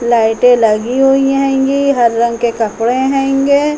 लाइटें लगी हुई हैंगी। हर रंग के कपड़े हैंगे।